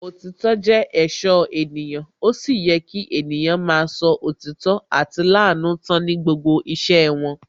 Òtítọ́ jẹ́ èṣó ènìyàn, ó sì yẹ kí ènìyàn máa sọ òtítọ́ àti lanú tán ní gbogbo iṣẹ́ wọn